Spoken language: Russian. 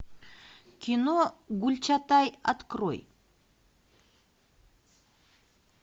кино гюльчатай открой